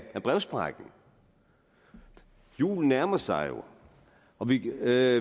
brevsprækken julen nærmer sig jo og vi ved af